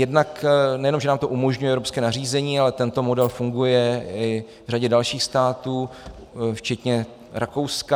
Jednak nejenom že nám to umožňuje evropské nařízení, ale tento model funguje i v řadě dalších států včetně Rakouska.